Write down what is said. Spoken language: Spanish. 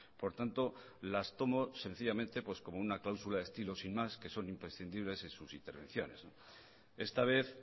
por tanto las tomó sencillamente como una cláusula estilo sin más que son imprescindibles en sus intervenciones esta vez